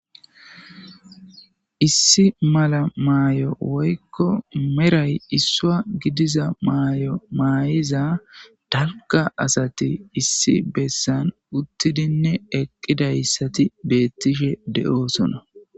Issi mala mayo woyikko meridhdhayi isuwa gidizza mayo mayizza daliga asati issi besanni uttidenne eqidayissati bettishshe de'osonna.